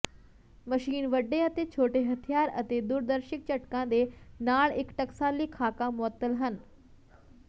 machine ਵੱਡੇ ਅਤੇ ਛੋਟੇ ਹਥਿਆਰ ਅਤੇ ਦੂਰਦਰਸ਼ਿਕ ਝਟਕਾ ਦੇ ਨਾਲ ਇੱਕ ਟਕਸਾਲੀ ਖਾਕਾ ਮੁਅੱਤਲ ਹਨ